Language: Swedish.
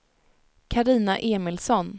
Carina Emilsson